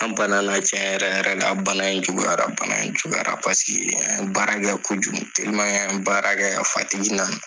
An banana tiɲɛ yɛrɛ yɛrɛ la. Bana in juguyara, bana in juguyara an ye baara kɛ kojugu an ye baara kɛ, nana.